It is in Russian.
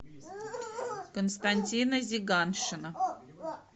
константина зиганшина